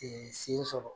sen sɔrɔ